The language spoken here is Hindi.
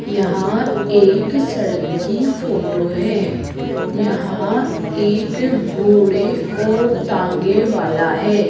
यहां एक सड़क की फोटो है यहां एक घोड़े और तांगे वाला है।